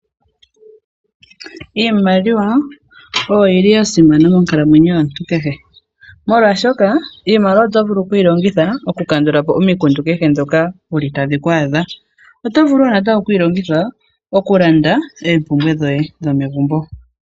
Iimaliwa oyo yi li ya simana monkalamwenyo yomuntu kehe, molwaashoka iimaliwa oto vulu okuyi longitha oku kandula po omikundu kehe ndhoka wu li tadhi ku adha. Oto vulu wo natango okuyi longitha oku landa oompumbwe dhoye dhomegumbo.